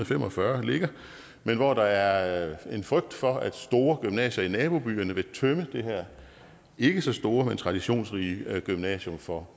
fem og fyrre ligger men hvor der er en frygt for at store gymnasier i nabobyerne vil tømme det her ikke så store men traditionsrige gymnasium for